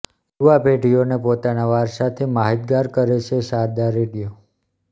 યુવા પેઢીઓને પોતાના વારસાથી માહિતગાર કરે છે શારદા રેડિયો